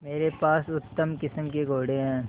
मेरे पास उत्तम किस्म के घोड़े हैं